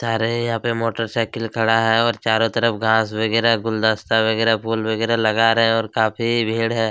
सारे यहाँ पे मोटरसाइकिल खड़ा है और चारो तरफ घाँस वगेरा गुलदस्ता वगेरा फुल वगेरा लगा रहे है और काफ़ी भीड़ है।